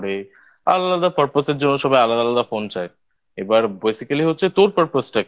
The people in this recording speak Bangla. আলাদা Purpose এর জন্য সবাই আলাদা আলাদা Phone চায় এবার Basically হচ্ছে তোর Purpose টা কি?